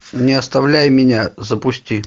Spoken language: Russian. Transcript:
не оставляй меня запусти